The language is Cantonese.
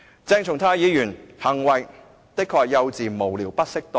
鄭松泰議員的行為的確是幼稚、無聊、不適當。